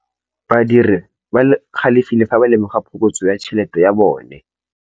Badiri ba galefile fa ba lemoga phokotsô ya tšhelête ya bone.